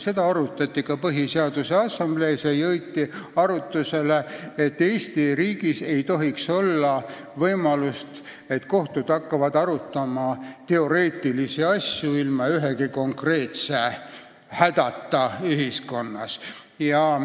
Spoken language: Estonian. Seda probleemi arutati ka Põhiseaduse Assamblees ja jõuti arusaamisele, et Eesti riigis ei tohiks olla võimalust, et kohtud hakkavad arutama teoreetilisi asju lahus konkreetsetest hädadest ühiskonnas.